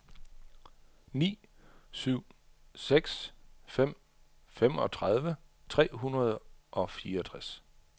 ni syv seks fem femogtredive tre hundrede og fireogtres